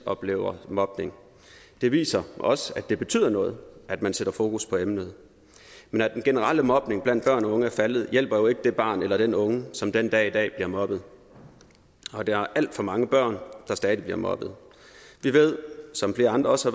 oplever mobning det viser også at det betyder noget at man sætter fokus på emnet men at den generelle mobning blandt børn og unge er faldet hjælper jo ikke det barn eller den unge som den dag i dag bliver mobbet der er alt for mange børn der stadig bliver mobbet vi ved som flere andre også